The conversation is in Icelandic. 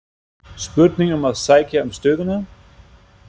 Spurning um að sækja um stöðuna?